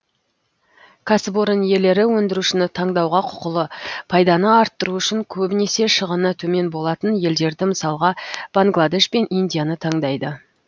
кәсіпорын иелері өндірушіні таңдауға құқылы пайданы арттыру үшін көбінесе шығыны төмен болатын елдерді мысалға бангладеш пен индияны таңдайды